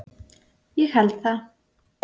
"""Ég held það,"""